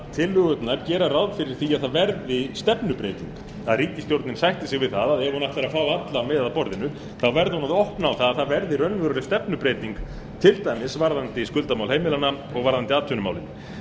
tillögurnar gera ráð fyrir því að það verði stefnubreyting að ríkisstjórnin sætti sig við það að ef hún ætlar að fá alla með að borðinu verði hún að opna á að það verði raunveruleg stefnubreyting til dæmis varðandi skuldamál heimilanna og varðandi atvinnumálin